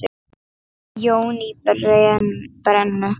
Jón í Brennu.